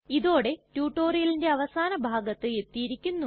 ഇതോടെ റ്റ്റുറ്റൊരിയലിന്റെ അവസാന ഭാഗത്ത് എത്തിയിരിക്കുന്നു